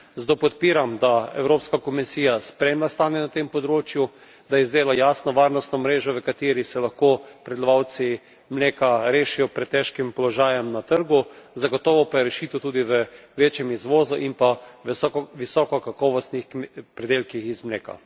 Zato podpiram, da Evropska komisija spremlja stanje na tem področju, da izdela jasno varnostno mrežo, v kateri se lahko pridelovalci mleka rešijo pred težkim položajem na trgu, zagotovo pa je rešitev tudi v večjem izvozu in v visokokakovostnih pridelkih iz mleka.